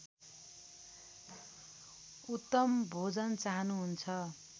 उत्तम भोजन चाहनुहुन्छ